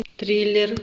триллер